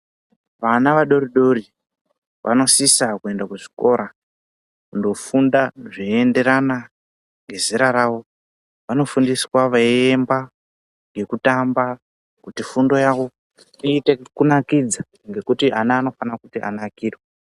Vana vadori dori vanosisa kuenda kuzvikora kundofunda zvinoendera ngezera rawo. Vanofundiswa veiimba ngekutamba kuti fundo yawo iite kunakidza ngekuti ana anofanira kuti anakirwe.